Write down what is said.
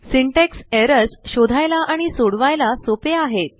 syntax errorsशोधायला आणि सोडवायला सोपे आहेत